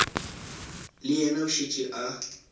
le yena o šetše a